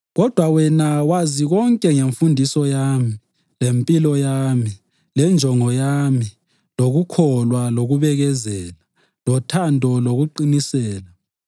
Kodwa wena wazi konke ngemfundiso yami, lempilo yami, lenjongo yami, lokukholwa, lokubekezela, lothando, lokuqinisela,